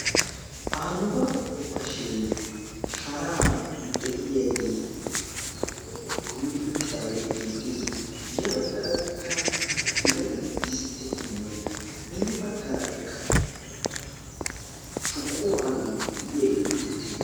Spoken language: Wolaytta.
aanuga okashee sharan de7iyaagee kumidi uttidaagee beettees. ya baggaarakka birata disttetinne hini baggaarakka shuquwaadoy de7iyaagee beettees.